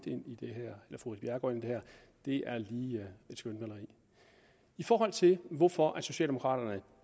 ind i det her er lige et skønmaleri i forhold til hvorfor socialdemokraterne